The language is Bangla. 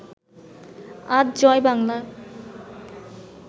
আজ জয় বাংলা